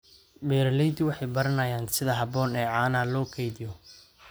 Beeraleydu waxay baranayaan sida habboon ee caanaha loo kaydiyo.